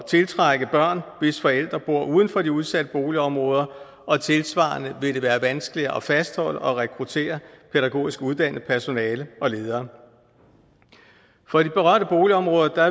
tiltrække børn hvis forældre bor uden for de udsatte boligområder og tilsvarende vil det være vanskeligere at fastholde og rekruttere pædagogisk uddannet personale og ledere for de berørte boligområder